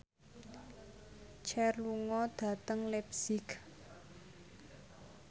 Cher lunga dhateng leipzig